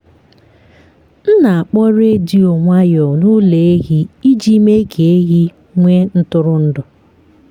m na-akpọ redio nwayọọ n’ụlọ ehi iji mee ka ehi nwee ntụrụndụ.